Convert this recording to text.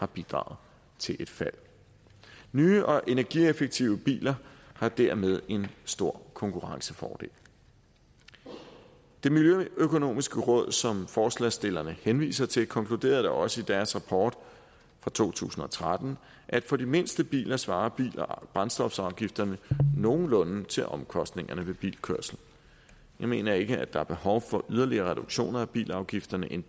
bidraget til et fald nye og energieffektive biler har dermed en stor konkurrencefordel det miljøøkonomiske råd som forslagsstillerne henviser til konkluderede da også i deres rapport fra to tusind og tretten at for de mindste biler svarer brændstofafgifterne nogenlunde til omkostningerne ved bilkørsel jeg mener ikke der er behov for yderligere reduktioner af bilafgifterne end